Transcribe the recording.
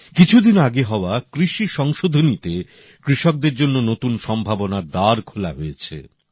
কিছুদিন আগে হওয়া কৃষি সংশোধনীতে কৃষকদের জন্য নতুন সম্ভাবনার দ্বার খোলা হয়েছে